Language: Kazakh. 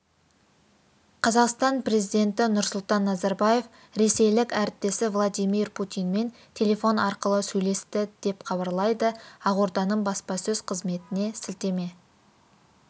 қазақстан президенті нұрсұлтан назарбаев ресейлік әріптесі владимир путинмен телефон арқылы сөйлесті деп хабарлайды ақорданың баспасөз-қызметіне сілтеме